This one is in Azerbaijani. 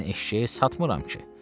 Mən eşşəyi satmıram ki.